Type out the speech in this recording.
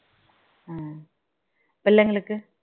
ஹம் பிள்ளைங்களுக்கு